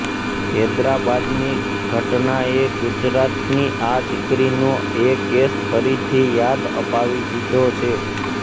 હૈદરાબાદની ઘટનાએ ગુજરાતની આ દીકરીનો એ કેસ ફરીથી યાદ અપાવી દીધો છે